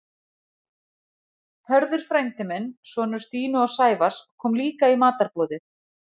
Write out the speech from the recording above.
Hörður frændi minn, sonur Stínu og Sævars, kom líka í matarboðið.